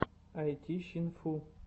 айтищинфу